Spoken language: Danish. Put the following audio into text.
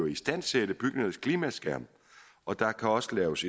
istandsætte bygningernes klimaskærme og der kan også laves